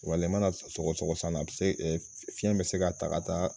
i mana sɔgɔ sɔgɔ san na se fiɲɛ bɛ se ka ta ka taa